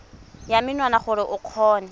ya menwana gore o kgone